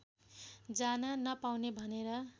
जान नपाउने भनेर